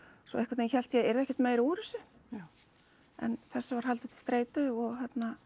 svo einhvern veginn hélt ég að yrði ekkert meira úr þessu já en þessu var haldið til streitu og